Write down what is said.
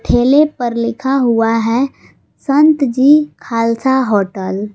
ठेले पर लिखा हुआ है संत जी खालसा होटल ।